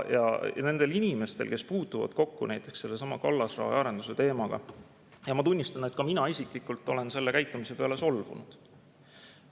Ja need inimesed, kes puutuvad kokku näiteks sellesama kallasrajaarenduse teemaga, ning ma tunnistan, et ka mina isiklikult olen sellise käitumise peale solvunud.